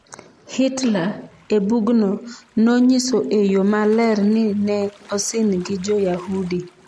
Hitler, e bugno, nonyiso e yo maler ni ne osin gi Jo-Yahudi.